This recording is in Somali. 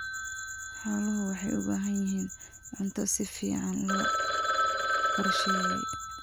Xooluhu waxay u baahan yihiin cunto si fiican loo qorsheeyay.